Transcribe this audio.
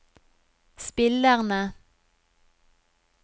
spillerne